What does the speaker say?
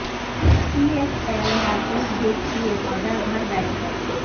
پی S L matches دیکھیں مگر گھر بیٹھ کر